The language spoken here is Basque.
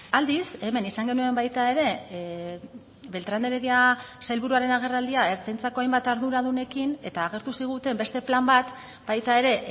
aldiz hemen izan genuen baita ere beltran de heredia sailburuaren agerraldia ertzaintzako hainbat arduradunekin eta agertu ziguten beste plan bat baita ere